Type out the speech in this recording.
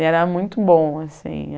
E era muito bom, assim.